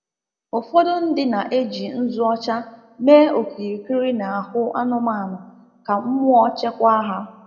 Ụfọdụ ndị na-eji nzu ọcha mee okirikiri n’ahụ anụmanụ ka mmụọ chekwaa ha.